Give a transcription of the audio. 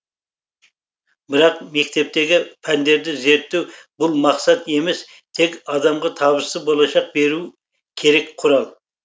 бірақ мектептегі пәндерді зерттеу бұл мақсат емес тек адамға табысты болашақ беруі керек құрал